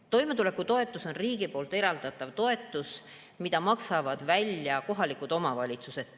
Toimetulekutoetus on riigi eraldatav toetus, mida maksavad välja kohalikud omavalitsused.